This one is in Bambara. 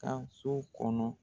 Taa so kɔnɔ